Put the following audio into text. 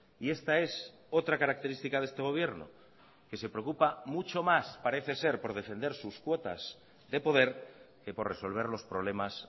y esta es otra característica de este gobierno que se preocupa mucho más parece ser por defender sus cuotas de poder que por resolver los problemas